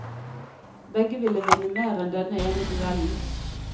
Begge vil vinne mer enn denne ene duellen.